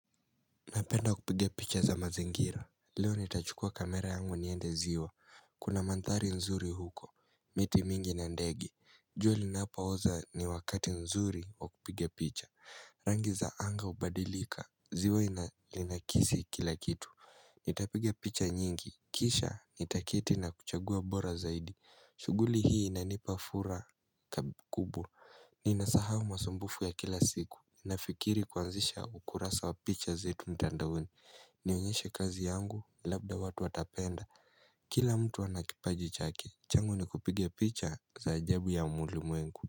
Napenda kupige picha za mazingira Leo nitachukua kamera yangu niende ziwa Kuna mantari nzuri huko miti mingi na ndege jua linapoza ni wakati mzuri wa kupiga picha Rangi za anga ubadilika ziwa linaakisi kila kitu Nitapiga picha nyingi Kisha nitaketi na kuchagua bora zaidi shughuli hii inanipa furaha kubwa Ninasahau masumbufu ya kila siku Nafikiri kuanzisha ukurasa wa picha zetu mtandaoni nionyeshe kazi yangu labda watu watapenda Kila mtu ana kipaji chake changu ni kupiga picha za ajabu ya ulimwengu.